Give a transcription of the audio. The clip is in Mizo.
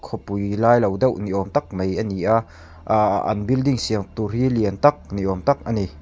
khawpui lai lo deuh ni âwm tak mai a ni a ahh an building siam tûr hi lian tak ni âwm tak a ni.